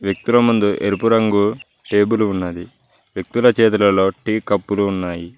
వ్యక్తుల ముందు ఎరుపు రంగు టేబులు ఉన్నది వ్యక్తుల చేతులలో టీ కప్పులు ఉన్నాయి.